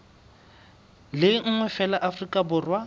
le nngwe feela afrika borwa